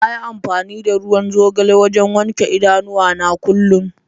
Na yi amfani da ruwan zogale wajen wanke idanuwana kullum.